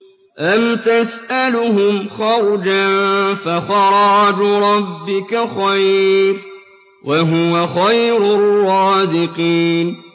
أَمْ تَسْأَلُهُمْ خَرْجًا فَخَرَاجُ رَبِّكَ خَيْرٌ ۖ وَهُوَ خَيْرُ الرَّازِقِينَ